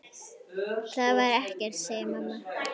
Það var ekkert, segir mamma.